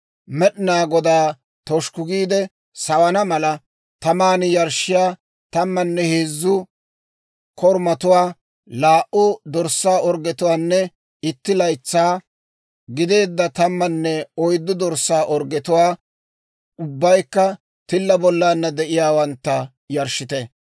Med'inaa Godaa toshukku giide sawana mala, taman yarshshiyaa tammanne heezzu korumatuwaa, laa"u dorssaa orggetuwaanne itti laytsaa gideedda tammanne oyddu dorssaa orggetuwaa, ubbaykka tilla bollana de'iyaawantta, yarshshite.